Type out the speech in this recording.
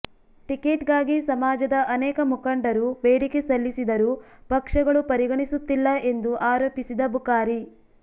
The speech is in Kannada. ಟಿಕೆಟ್ಗಾಗಿ ಸಮಾಜದ ಅನೇಕ ಮುಖಂಡರು ಬೇಡಿಕೆ ಸಲ್ಲಿಸಿದರೂ ಪಕ್ಷಗಳು ಪರಿಗಣಿಸುತ್ತಿಲ್ಲ ಎಂದು ಆರೋಪಿಸಿದ ಬುಕಾರಿ